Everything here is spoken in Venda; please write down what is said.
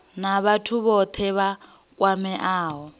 na vhathu vhothe vha kwameaho